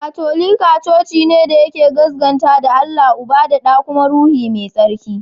Katolika coci ne da ya gaskanta da Allah Uba, da da kuma Ruhu Mai Tsarki.